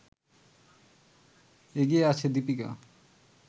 এগিয়ে আছে দীপিকা